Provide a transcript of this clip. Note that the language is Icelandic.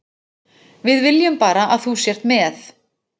Við viljum bara að þú sért með.